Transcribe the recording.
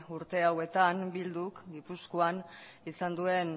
urte hauetan bilduk gipuzkoan izan duen